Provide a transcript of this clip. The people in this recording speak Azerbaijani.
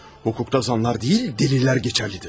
Hukukda zanlar deyil, dəlillər keçərlidir!